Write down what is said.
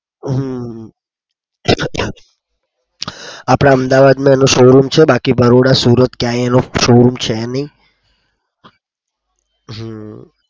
હમ આપડા અમદાવાદ એનો show room છે. બાકી બરોડા, સુરત ક્યાંય એનો show room છે નહી.